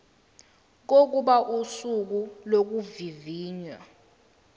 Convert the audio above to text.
kokuba usuku lokuvivinywa